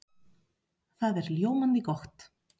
Það er ljómandi gott!